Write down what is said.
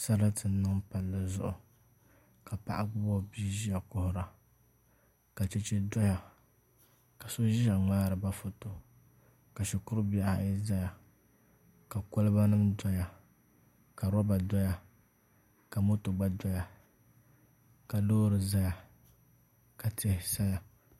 Sarati n niŋ palli zuɣu ka paɣa gbubi o bia ʒiya kuhura ka chɛchɛ doya ka so ʒiya ŋmaariba foto ka shikuru bihi ayi ʒɛya ka kolba nim doya ka roba doya ka moto gba doya ka loori ʒɛya ka tihi saya